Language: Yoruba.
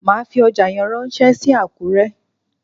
Màá fi ọjà yẹn ránsé sí Àkúré